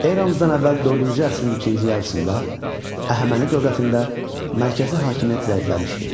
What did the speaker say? Eramızdan əvvəl dördüncü əsrin ikinci yarısında Əhəməni dövlətində mərkəzi hakimiyyət zəifləmişdi.